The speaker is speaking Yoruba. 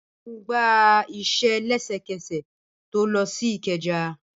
Balogun gba ise lesekese to lo si ikeja.